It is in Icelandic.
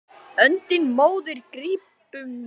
Öndina móðir grípum við.